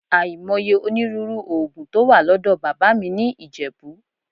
Àìmọye onírúurú òògùn tó wà lọ́dọ̀ bàbá mi ní Ìjẹ̀bú